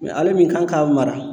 Mɛ ale min kan ka mara